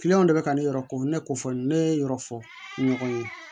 de bɛ ka ne yɛrɛ ko ne ko fɔ ne ye yɔrɔ fɔ ɲɔgɔn ye